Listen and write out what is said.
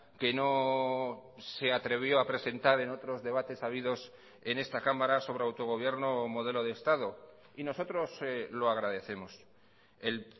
que no se atrevió a presentar en otros debates habidos en esta cámara sobre autogobierno o modelo de estado y nosotros lo agradecemos el